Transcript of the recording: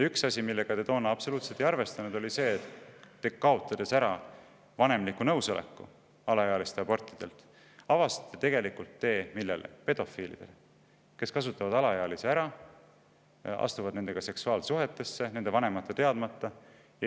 Üks asi, millega te toona absoluutselt ei arvestanud, oli see, et kaotades ära vanemliku nõusoleku alaealise raseduse katkestamiseks, te avasite tee pedofiilidele, kes kasutavad alaealisi ära, astuvad nendega seksuaalsuhtesse nende vanemate teadmata.